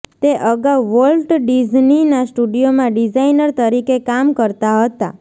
તે અગાઉ વોલ્ટ ડિઝનીનાં સ્ટુડિયોમાં ડિઝાઈનર તરીકે કામ કરતાં હતાં